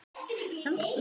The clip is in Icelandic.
Dýrmæta þjóð!